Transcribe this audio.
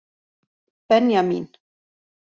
Benjamín